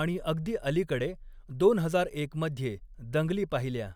आणि अगदी अलीकडे, दोन हजार एक मध्ये दंगली पाहिल्या.